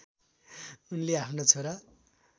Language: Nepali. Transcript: उनले आफ्नो छोरा